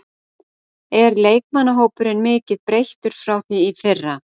Er leikmannahópurinn mikið breyttur frá því í fyrra?